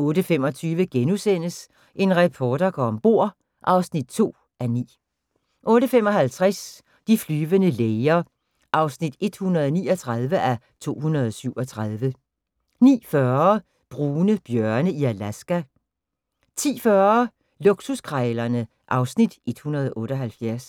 08:25: En reporter går om bord (2:9)* 08:55: De flyvende læger (139:237) 09:40: Brune bjørne i Alaska 10:40: Luksuskrejlerne (Afs. 178)